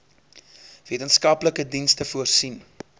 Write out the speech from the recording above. wetenskaplike dienste voorsien